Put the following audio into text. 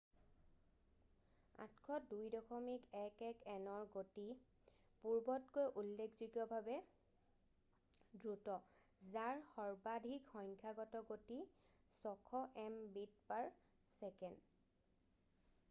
802.11nৰ গতি পূৰ্বতকৈ উল্লেখযোগ্যভাৱে দ্ৰুত যাৰ সৰ্বাধিক সংখ্যাগত গতি 600mbit/s